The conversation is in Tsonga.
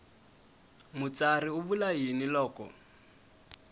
mutsari u vula yini loko